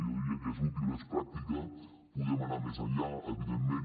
jo diria que és útil és pràctica tot i que podem anar més enllà evidentment